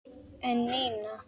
En Nína?